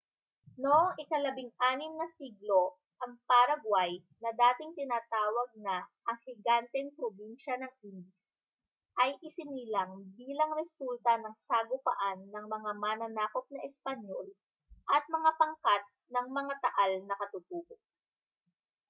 noong ika-16 na siglo ang paraguay na dating tinatawag na ang higanteng probinsya ng indies ay isinilang bilang resulta ng sagupaan ng mga mananakop na espanyol at mga pangkat ng mga taal na katutubo